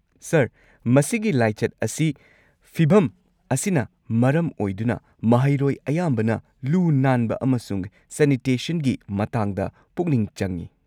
Sir, ꯃꯁꯤꯒꯤ ꯂꯥꯏꯆꯠ ꯑꯁꯤ ꯐꯤꯚꯝ ꯑꯁꯤꯅ ꯃꯔꯝ ꯑꯣꯏꯗꯨꯅ ꯃꯍꯩꯔꯣꯏ ꯑꯌꯥꯝꯕꯅ ꯂꯨ-ꯅꯥꯟꯕ ꯑꯃꯁꯨꯡ ꯁꯦꯅꯤꯇꯦꯁꯟꯒꯤ ꯃꯇꯥꯡꯗ ꯄꯨꯛꯅꯤꯡ ꯆꯪꯉꯤ꯫